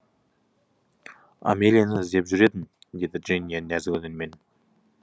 амелияны іздеп жүр едім деді джиния нәзік үнмен